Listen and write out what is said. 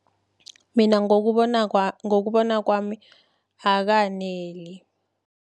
Mina ngokubona kwami, akaneli.